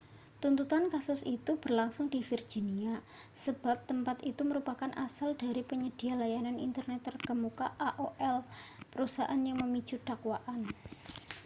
tuntutan kasus itu berlangsung di virginia sebab tempat itu merupakan asal dari penyedia layanan internet terkemuka aol perusahaan yang memicu dakwaan